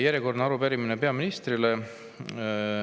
Järjekordne arupärimine peaministrile.